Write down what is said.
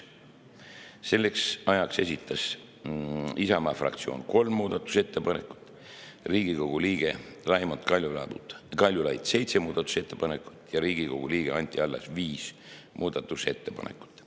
Selleks ajaks esitas Isamaa fraktsioon kolm muudatusettepanekut, Riigikogu liige Raimond Kaljulaid seitse muudatusettepanekut ja Riigikogu liige Anti Allas viis muudatusettepanekut.